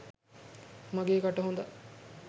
මගේ කට හොදා